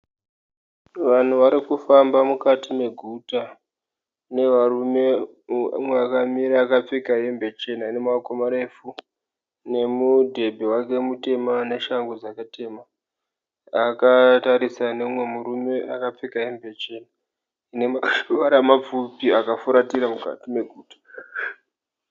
Vanhu varikufamba mukati meguta. Mune varume umwe akamira akapfeka hembe chena inemaoko marefu nemudhebhe wake mutema neshangu dzake tema. Akatarisana neumwe murume akapfeka hembe chena inemaoko mapfupi akafuratira mukati meguta.